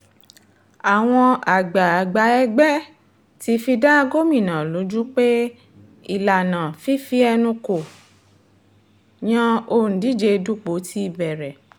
àwọn àgbààgbà ẹgbẹ́ ti fi dá gómìnà lójú pé ìlànà fífi ẹnu kò yan òǹdíje dupò ti bẹ̀rẹ̀